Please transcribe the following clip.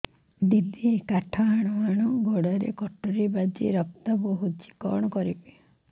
ଦିଦି କାଠ ହାଣୁ ହାଣୁ ଗୋଡରେ କଟୁରୀ ବାଜି ରକ୍ତ ବୋହୁଛି କଣ କରିବି